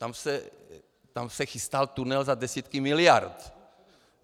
Tam se chystal tunel za desítky miliard.